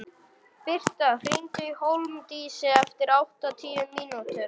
Birta, hringdu í Hólmdísi eftir áttatíu mínútur.